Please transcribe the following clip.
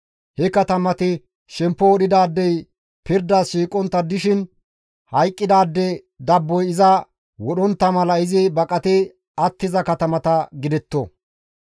He katamati shemppo wodhidaadey pirdas shiiqontta dishin hayqqidaade dabboy iza wodhontta mala izi baqati attiza katamata gidetto.